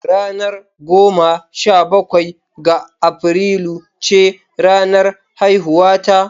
Ranar goma sha bakwai ga Afrilu ce ranar haihuwata.